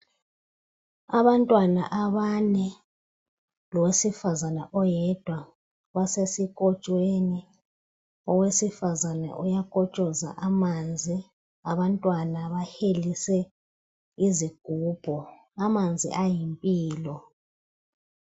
Abantwana abane lowesifazana oyedwa basesikotshweni, owesifazana uyakotshoza am.anzi abantwana bahelise izigubhu. Amanzi ayimpilo.